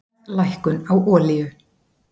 Verðlækkun á olíu